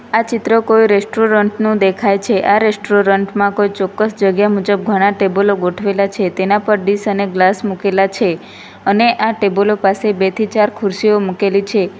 આ ચિત્ર કોઈ રેસ્ટોરન્ટ નું દેખાય છે આ રેસ્ટોરન્ટ માં કોઈ ચોક્કસ જગ્યા મુજબ ઘણા ટેબલો ગોઠવેલા છે તેના પર ડીશ અને ગ્લાસ મુકેલા છે અને આ ટેબલો પાસે બે થી ચાર ખુરશીઓ મૂકેલી છે.